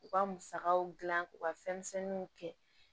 U ka musakaw dilan k'u ka fɛn misɛnninw kɛ